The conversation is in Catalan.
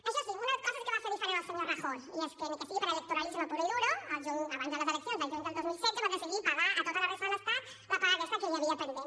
això sí una cosa sí que va fer diferent el senyor rajoy i és que ni que sigui per electoralisme puro y duro abans de les eleccions del juny del dos mil setze va decidir pagar a tota la resta de l’estat la paga aquesta que hi havia pendent